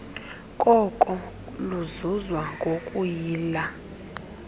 koko luzuzwa ngokuyila